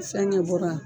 Fɛnkɛ bɔra yan